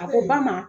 A ko ba ma